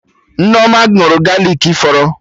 Nneoma ṅụrụ galik fọrọ